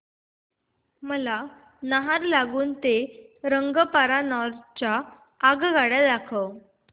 मला नाहरलागुन ते रंगपारा नॉर्थ च्या आगगाड्या सांगा